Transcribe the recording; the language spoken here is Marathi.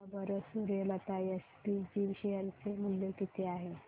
सांगा बरं सूर्यलता एसपीजी शेअर चे मूल्य किती आहे